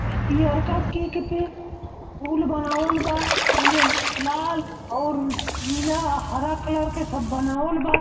पियरका cake पे फूल बनावल बा। एमे लाल और नीला हरा कलर के सब बनावल बा।